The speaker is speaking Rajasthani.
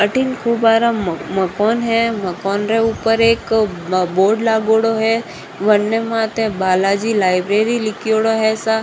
अथीन खूब बड़ो मकान है मकान रे ऊपर एक बोर्ड लागेडो है बनने माटे बालाजी लाइब्रेरी लीखेड़ो है सा।